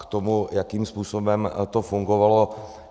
K tomu, jakým způsobem to fungovalo.